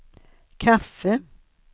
kaffe